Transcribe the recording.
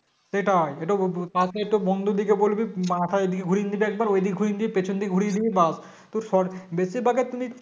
সেটাই একটু প~ পাশ নিয়ে একটু বন্ধুদেরকে বলবি মাথা এদিকে ঘুরিয়ে দিতে একবার ঐদিক ঘুরিয়ে দিতে পেছনদিকে ঘুরিয়ে দিবি ব্যাস তোর Short বেশির ভাগ এক্ষনি